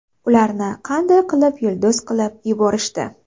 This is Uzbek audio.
Ularni qanday qilib yulduz qilib yuborishdi?.